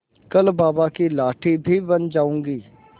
कल बाबा की लाठी भी बन जाऊंगी